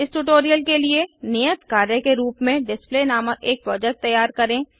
इस ट्यूटोरियल के लिए नियत कार्य के रूप में डिस्प्ले नामक एक प्रोजेक्ट तैयार करें